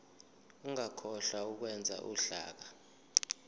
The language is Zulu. ungakhohlwa ukwenza uhlaka